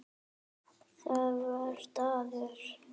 Það var staður.